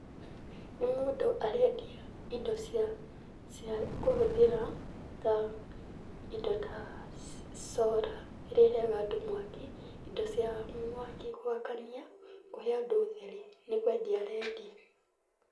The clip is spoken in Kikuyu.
Nĩ mũndũ arendia indo cia kũhũthĩra. Indo ta solar, iria iheaga andũ mwaki. Indo cia mwaki gwakania, kũhe andũ utheri. Nĩ kwendia arendia.